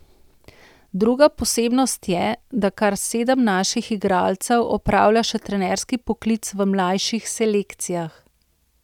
Druga posebnost je, da kar sedem naših igralcev opravlja še trenerski poklic v mlajših selekcijah.